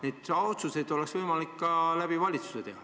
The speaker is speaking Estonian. Neid otsuseid oleks võimalik ka valitsuse kaudu teha.